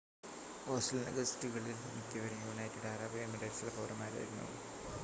ഹോസ്റ്റലിൻ്റെ ഗസ്റ്റുകളിൽ മിക്കവരും United Arab എമിറേറ്റ്സിലെ പൗരന്മാരായിരുന്നു